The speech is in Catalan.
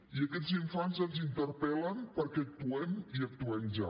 i aquests infants ens interpel·len perquè actuem i actuem ja